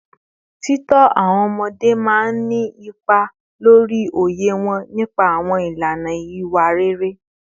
Títọ́ àwọn ọmọdé máa ń nípa lórí òye wọn nípa àwọn ìlànà ìwà rere